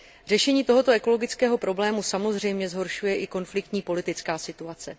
Řešení tohoto ekologického problému samozřejmě zhoršuje i konfliktní politická situace.